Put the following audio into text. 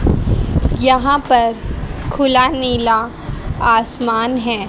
यहां पर खुला नीला आसमान है।